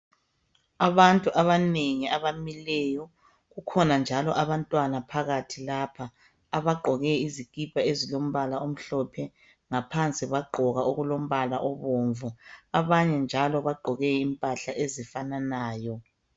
Abantu abanengi abamileyo kukhona njalo abantwana phakathi lapha abagqoke izikipa ezilombala omhlophe ngaphansi bagqoka okulombala obomvu abanye njalo bagqoke impahla ezifananayo.